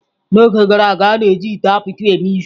N'oge gara aga, a na-eji ite apịtị eme ihe.